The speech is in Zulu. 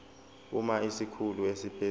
uma isikhulu esiphezulu